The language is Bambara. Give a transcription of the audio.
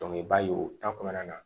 i b'a ye o ta kɔnɔna na